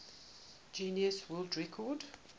guinness world record